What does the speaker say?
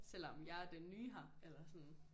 Selvom jeg er den nye her eller sådan